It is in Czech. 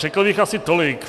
Řekl bych asi tolik.